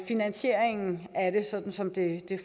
finansieringen af det sådan som den